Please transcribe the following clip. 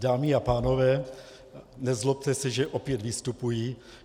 Dámy a pánové, nezlobte se, že opět vystupuji.